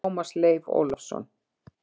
Tómas Leif Ólafsson!